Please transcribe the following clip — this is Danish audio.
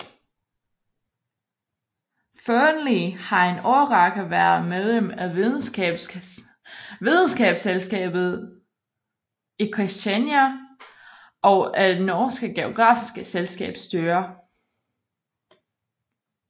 Fearnley har en årrække været medlem af Videnskabsselskabet i Kristiania og af det norske Geografiske Selskabs styre